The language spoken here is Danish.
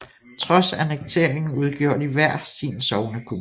Trods annekteringen udgjorde de hver sin sognekommune